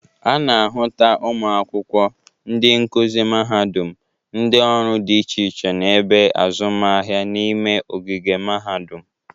A na-ahụta ụmụ akwụkwọ, ndị nkuzi mahadụm, ndị ọrụ dị iche iche na ebe azụmahịa n'ime ogige mahadụm.